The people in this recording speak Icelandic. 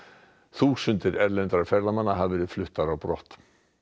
þúsundir erlendra ferðamanna hafa verið fluttar á brott